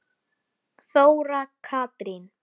Þóra Katrín.